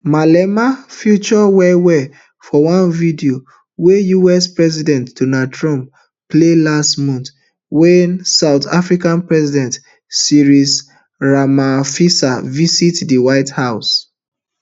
malema feature wellwell for one video wey us president donald trump play last month wen south african president cyril ramaphosa visit di white house